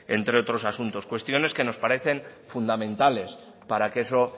entre otros asuntos cuestiones que nos parecen fundamentales para que eso